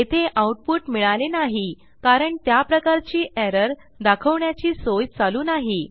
येथे आऊटपुट मिळाले नाही कारण त्याप्रकारची एरर दाखवण्याची सोय चालू नाही